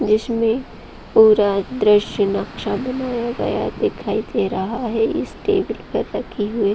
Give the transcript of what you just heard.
जिसमे पूरा दृश्य नक्शा बनाया गया दिखाई दे रहा है इस टेबल पर रखी हुई --